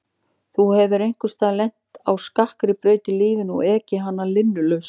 Þú hefur einhvers staðar lent á skakkri braut í lífinu og ekið hana linnulaust.